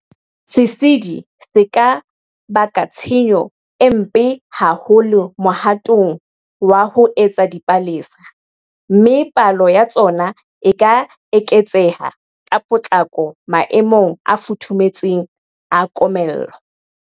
Sesedi se ka baka tshenyo e mpe haholo mohatong wa ho etsa dipalesa, mme palo ya tsona e ka eketseha ka potlako maemong a futhumetseng, a komello.